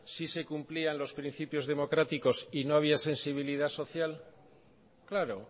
sí se cumplían los principios democráticos y no había sensibilidad social claro